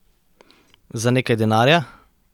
Za nekaj denarja?